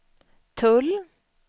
tull